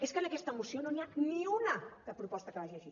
és que en aquesta moció no n’hi ha ni una de proposta que vagi així